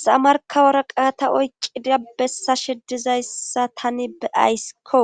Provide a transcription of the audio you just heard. sa markawora qaata oyqqida bessa shedizayssa tani beayskko